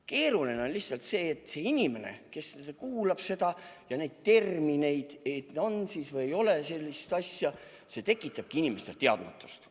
Keeruline on lihtsalt see, et inimene kuulab seda juttu ja neid termineid ega tea, on siis või ei ole mingit asja – see tekitabki inimestes teadmatust.